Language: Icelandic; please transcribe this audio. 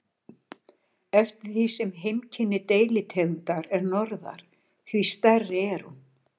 Eftir því sem heimkynni deilitegundar er norðar, því stærri er hún.